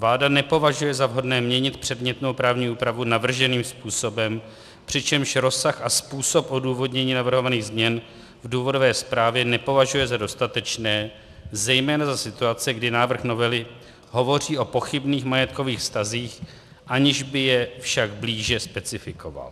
Vláda nepovažuje za vhodné měnit předmětnou právní úpravu navrženým způsobem, přičemž rozsah a způsob odůvodnění navrhovaných změn v důvodové zprávě nepovažuje za dostatečné, zejména za situace, kdy návrh novely hovoří o pochybných majetkových vztazích, aniž by je však blíže specifikoval.